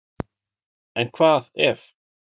En hvað ef?